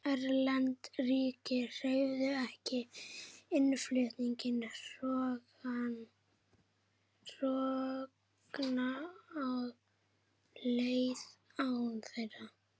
Erlend ríki leyfðu ekki innflutning hrogna og seiða án þeirra.